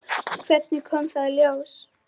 Hvernig kom það í ljós?